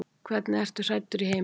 Hvernig ertu hræddur í heiminum?